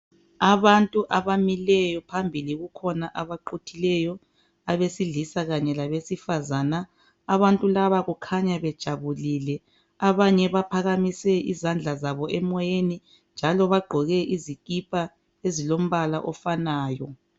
Abantu abamileyo phambili kukhona baquthileyo abesilisa kanye labesifazana. Abantu laba kukhanya bejabulile; abanye baphakamise izandla zabo emoyeni njalo bagqoke izikipha ezilombala ofanayo.